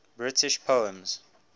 british poems